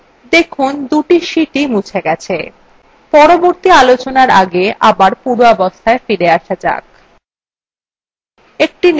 দেখুন দুটি sheetswe মুছে গেছে